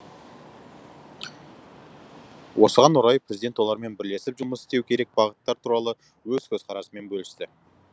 осыған орай президент олармен бірлесіп жұмыс істеу керек бағыттар туралы өз көзқарасымен бөлісті